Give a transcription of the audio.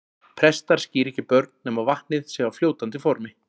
Prestar skíra ekki börn nema vatnið sé á fljótandi formi.